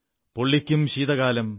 പൊള്ളിക്കും ശീതകാലം